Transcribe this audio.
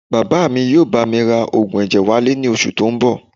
Bàbá mi yóò bá mi ra oògùn ẹ̀jẹ̀ wálé ní oṣù tó ń bọ̀